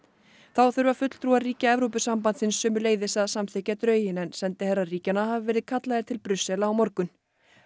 þá þurfa fulltrúar ríkja Evrópusambandsins sömuleiðis að samþykkja drögin en sendiherrar ríkjanna hafa verið kallaðir til Brussel á morgun